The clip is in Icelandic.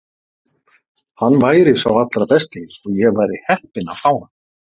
Hann væri sá allra besti og ég væri heppin að fá hann.